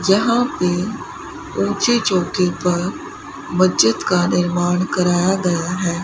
यहां पे ऊंची चोटी पर मस्जिद का निर्माण कराया गया है।